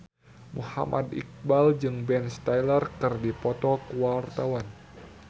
Muhammad Iqbal jeung Ben Stiller keur dipoto ku wartawan